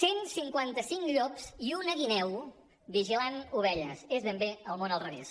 cent cinquanta cinc llops i una guineu vigilant ovelles és ben bé el món al revés